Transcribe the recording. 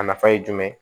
A nafa ye jumɛn ye